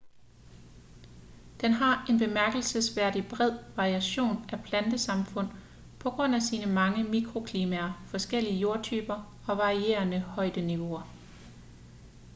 den har en bemærkelsesværdigt bred variation af plantesamfund på grund af sine mange mikroklimaer forskellige jordtyper og varierende højdeniveauer